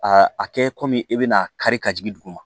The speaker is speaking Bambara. A kɛ e bɛna kari ka jigin duguma